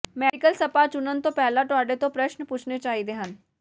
medical spa ਚੁਣਨ ਤੋਂ ਪਹਿਲਾਂ ਤੁਹਾਡੇ ਤੋਂ ਪ੍ਰਸ਼ਨ ਪੁੱਛਣੇ ਚਾਹੀਦੇ ਹਨ